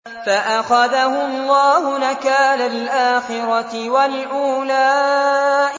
فَأَخَذَهُ اللَّهُ نَكَالَ الْآخِرَةِ وَالْأُولَىٰ